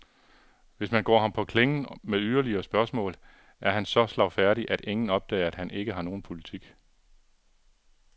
Hvis man går ham på klingen med yderligere spørgsmål, er han så slagfærdig, at ingen opdager, at han ikke har nogen politik.